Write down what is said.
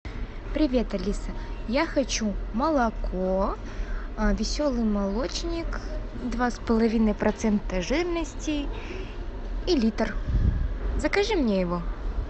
привет алиса я хочу молоко веселый молочник два с половиной процента жирности и литр закажи мне его